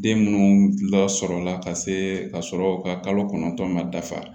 Den minnu lasɔrɔla ka se ka sɔrɔ ka kalo kɔnɔntɔn ma dafa